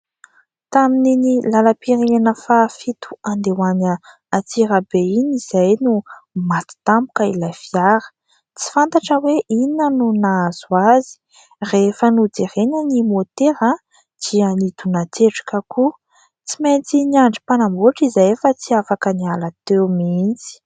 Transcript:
Tamin'iny lalam-pirenena faha fito handeha ho any Antsirabe iny izahay no maty tampoka ilay fiara, tsy fantatra hoe inona no nahazo azy. Rehefa nojerena ny môtera dia nidonan-tsetroka koa. Tsy maintsy niandry mpanamboatra izahay fa tsy afaka niala teo mihitsy.